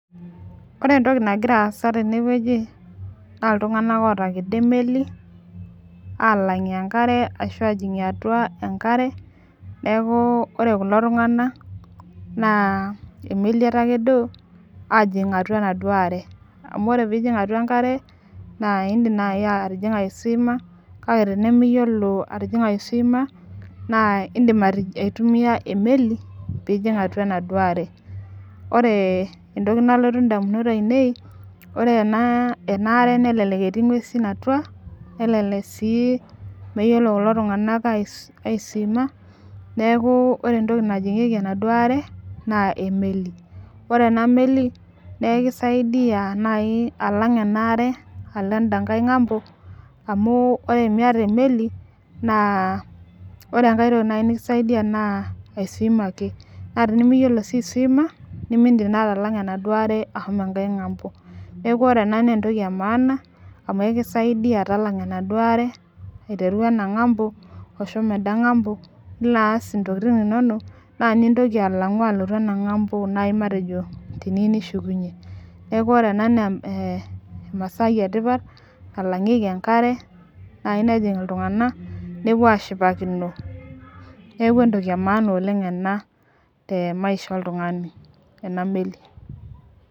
Ore entoki nagira aas tene wueji naa iltunganak oitijinga emeli, aalang ashu aajing atua enkare. neeku ore kulo tunganak Nas emeli etakedo aajing atua enaduoo are. amu ore pee ijing atua enkare, idim naaji atijing'a aisuima kake tenimiyiolo atijing'a aisuima naa idim aitumia emeli, atijing'a atua e anaduoo are. ore. Entoki nalotu damunot ainei. ore ena are. nelelek etii nguesin atua. nelelek sii meyiolo kulo tunganak aisuima neeku ore entoki najing'ieki enaduoo are naa emeli. ore ena meli naa ekisaidia naaji alang' ena are. alo edankae ngambo. amu ore miaata emeli naa ore enkae toki naaji nikisaidia naa ai swim ake naa tenimiyiolo siu ai swim nemeidim naa atalanga ashomo ngambo. neeku ore ena naa entoki emaana amu ekisaidia talanga enaduoo are aiteru ena ngambo shomo enkae ngambo nilo aas intokitin inonok. naa nintoki alotu enankae ngambo nilo aas teniyieu nishukunye. neeku ore ena naa emasai eripata nalangieki enkare nejing iltunganak nepuo ashipakino neeku entoki emaana oleng ena te maisha oltungani ena melli.